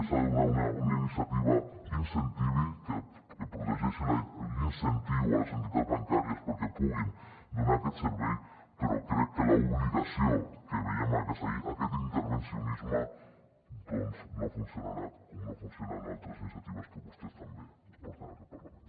s’ha de donar una iniciativa que incentivi que protegeixi l’incentiu a les entitats bancàries perquè puguin donar aquest servei però crec que l’obligació que veiem al que seria aquest intervencionisme doncs no funcionarà com no funcionen altres iniciatives que vostès també porten a aquest parlament